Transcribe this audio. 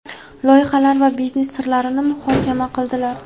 loyihalar va biznes sirlarini muhokama qildilar.